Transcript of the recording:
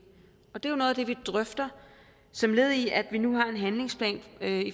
og det er noget af det vi drøfter som led i at vi nu har en handlingsplan